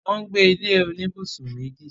wọ́n gbé ilé oníbùsùn méjì.